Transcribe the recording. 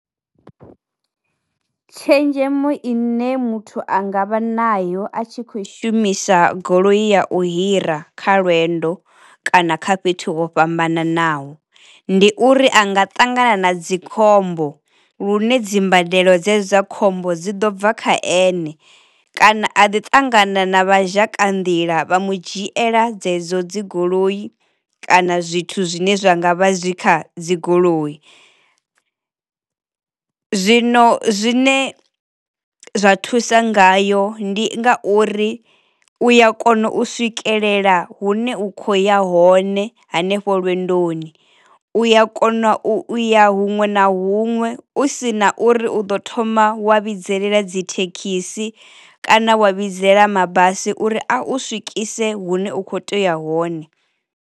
Tshenzhemo ine muthu a nga vha nayo a tshi kho i shumisa goloi ya u hira kha lwendo kana kha fhethu ho fhambananaho ndi uri a nga ṱangana na dzikhombo lune dzimbadelo dze dza khombo dzi ḓo bva kha ene, kana a ḓi tangana na vha zhaka nḓila vha mu dzhiela dzedzo dzi goloi kana zwithu zwine zwa ngavha zwi kha dzi goloi. Zwino zwine zwa thusa ngayo ndi nga uri u ya kona u swikelela hune u kho ya hone hanefho lwendoni, u ya kona u ya huṅwe na huṅwe u sina uri uḓo thoma wa vhidzelela dzi thekhisi kana wa vhidzelela mabasi uri a u swikise hune u kho teya hone.